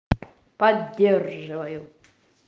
поддерживаю